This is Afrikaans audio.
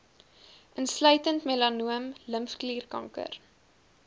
insluitend melanoom limfklierkanker